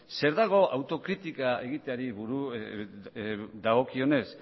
zer dago autokritika egiteari buruz dagokionez